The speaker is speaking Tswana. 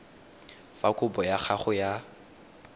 fa kopo ya gago ya